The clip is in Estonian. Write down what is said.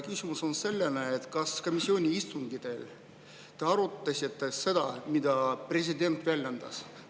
Küsimus on selline: kas komisjoni istungitel te arutasite seda, mida president väljendas?